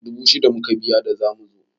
Dubu shida muka biya da zamu zo.